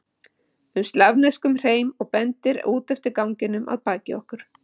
um slavneskum hreim og bendir út eftir ganginum að baki okkur.